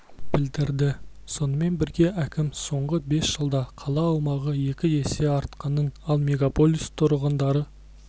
білдірді сонымен бірге әкім соңғы бес жылда қала аумағы екі есе артқанын ал мегаполис тұрғындары